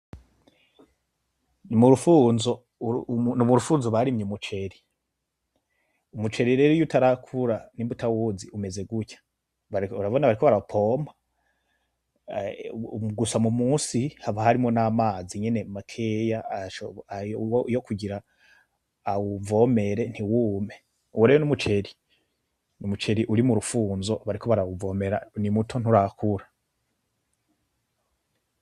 Murufunzo barimye umuceri. Umuceri rero iyo utarakura nimba uwuzi umeze gutya, urabona bariko bara wupompa gusa musi haba harimwo namazi nyene makeya yokugira awuvomere ntiwume, uwo rero umuceri ni umuceri uri murufunzo bariko barawuvomera nimuto nturakora.